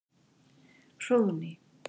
Hróðný